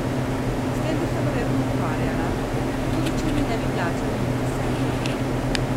S tem bi se verjetno ukvarjala, tudi če mi ne bi plačali niti centa!